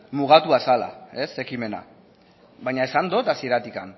mugatua zela ekimena baina esan dut hasieratik